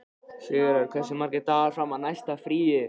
Sigurörn, hversu margir dagar fram að næsta fríi?